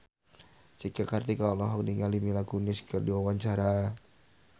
Cika Kartika olohok ningali Mila Kunis keur diwawancara